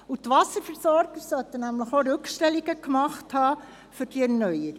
Zudem hätten die Wasserversorger für die Erneuerung Rückstellungen vornehmen müssen.